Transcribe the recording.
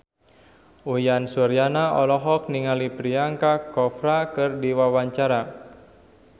Uyan Suryana olohok ningali Priyanka Chopra keur diwawancara